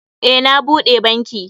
Eh, na bude banki.